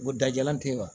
Ko dajalen tɛ wa